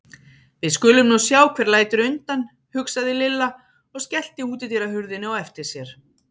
Við skulum nú sjá hver lætur undan, hugsaði Lilla og skellti útidyrahurðinni á eftir sér.